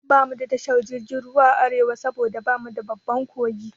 Bamu da tashar jirgin ruwa a Arewa saboda bamu da babban kogi